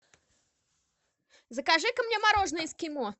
закажи ка мне мороженое эскимо